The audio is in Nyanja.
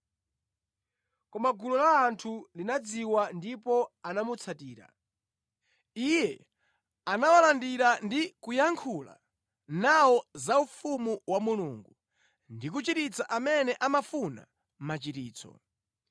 Koma gulu la anthu linadziwa ndipo anamutsatira. Iye anawalandira ndi kuyankhula nawo za ufumu wa Mulungu, ndi kuchiritsa amene amafuna machiritso.